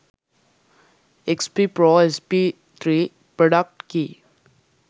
xp pro sp3 product key